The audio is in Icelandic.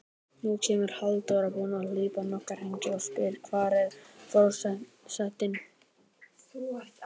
Nú kemur Halldóra, búin að hlaupa nokkra hringi, og spyr: Hvar er forsetinn?